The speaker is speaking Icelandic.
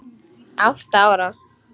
Átta ára